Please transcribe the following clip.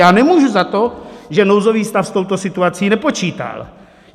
Já nemůžu za to, že nouzový stav s touto situací nepočítal.